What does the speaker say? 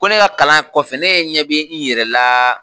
Ko ne ka kalan ye kɔfɛ ne ɲɛ bɛ i yɛrɛ laaa.